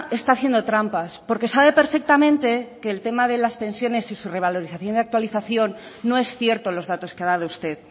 está haciendo trampas porque sabe perfectamente que el tema de las pensiones y su revalorización y actualización no es cierto los datos que ha dado usted